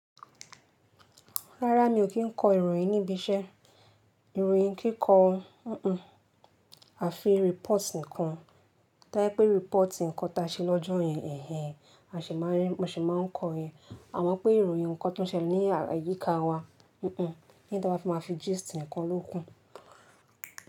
Rárá mi ò kí n kọ ìròyìn níbi iṣẹ́, ìròyìn kíkọ, hín, àfi report nìkan. To ba jẹ pé report ǹkan ta ṣe lọ́jọ́ yẹn, ẹ̀hẹ̀h, a sì máa rí, mo sì máa ń kọ yẹn. Àmọ́ pé ìròyìn ǹkan tó ń ṣẹlẹ̀ ní àyíká wa, hun-un, leyin ta bá fi má fi gist nìkan ló kù.